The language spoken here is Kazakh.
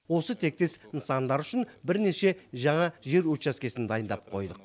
осы тектес нысандар үшін бірнеше жаңа жер учаскесін дайындап қойдық